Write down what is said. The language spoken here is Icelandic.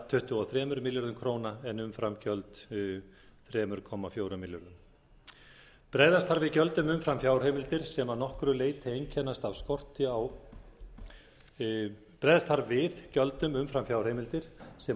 tuttugu og tvö þúsund níu hundruð fimmtíu og sex komma þremur milljónum króna en umframgjöld þrjú þúsund fjögur hundruð sjötíu og fjögur komma tveimur milljónum króna bregðast þarf við gjöldum umfram fjárheimildir sem að